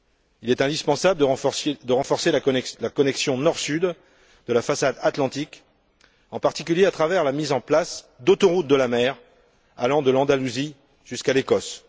Il est indispensable de renforcer la connexion nord sud de la façade atlantique, en particulier à travers la mise en place d'autoroutes de la mer allant de l'Andalousie jusqu'à l'Écosse.